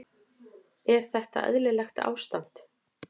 Er þetta eðlilegt ástand?